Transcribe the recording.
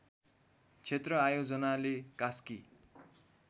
क्षेत्र आयोजनाले कास्की